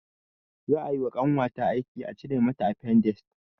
Za ayi wa ƙanwata aiki a cire mata afendis